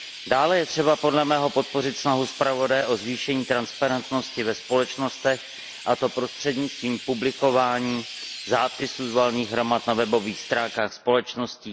Dále je třeba, podle mého, podpořit snahu zpravodaje o zvýšení transparentnosti ve společnostech, a to prostřednictvím publikování zápisů z valných hromad na webových stránkách společností.